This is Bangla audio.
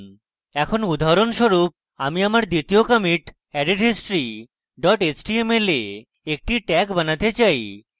এখন উদাহরণস্বরূপ আমি আমার দ্বিতীয় commit added history html a একটি tag বানাতে চাই